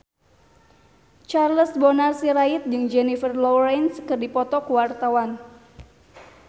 Charles Bonar Sirait jeung Jennifer Lawrence keur dipoto ku wartawan